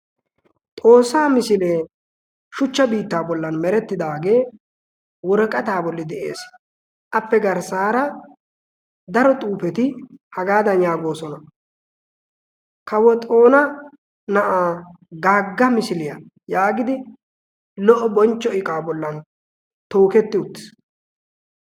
xoossaa misilee shuchcha biittaa bollan merettidaagee woraaqataa bolli de7ees. appe garssaara daro xuufeti hagaadan yaagoosona. kawo xoona na7aa gaagga misiliyaa' yaagidi lo77o bonchcho iqaa bollan tooketti uttis.